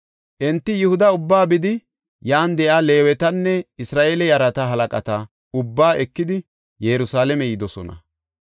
Enti Yihuda ubbaa bidi yan de7iya Leewetanne Isra7eele yarata halaqata ubbaa ekidi Yerusalaame yidosona.